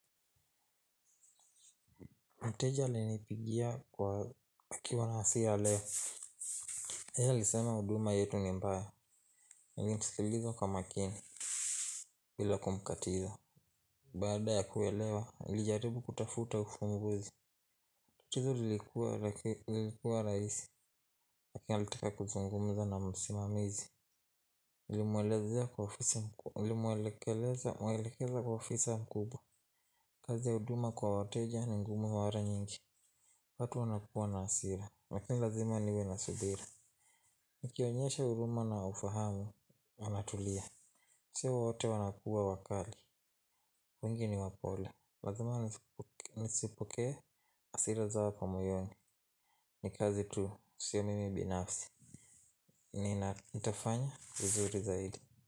Mteja alinipigia kwa akiwa na hasira leo. Yeye alisema huduma yetu ni mbaya. Nilimsikiliza kwa makini. Bila kumkatiza baada ya kuelewa alijaribu kutafuta ufumbuzi. Tatizo lilikuwa lakini lilikuwa rahisi. Lakini alitika kuzungumza na msimamizi. Nilimwelekeza kwa ofisa mkubwa. Kazi ya huduma kwa wateja ni ngumu mara nyingi. Watu wanakuwa na hasira. Lakini lazima niwe na subira. Nikionyesha huruma na ufahamu wanatulia sio wote wanakuwa wakali wengi ni wapole lazima nisipokee hasira zao kwa moyoni. Nikaze tu sio mimi binafsi. Nina nitafanya vizuri zaidi.